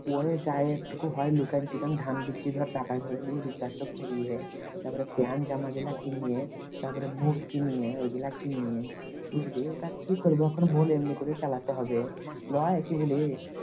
Way যায় একটুকু হয়। লুকান চুকায় ধান বেশি ধর টাকা গুলো নিয়ে recharge তা করিয়ে তারপর প্যান্ট জামা গুলো নিয়ে তারপরে বুট কিনিয়ে ওইগুলোকে নিয়ে বুঝলি তা কি করবো এখন বল এমনি করে চালাতে হবে। লই কি বলিস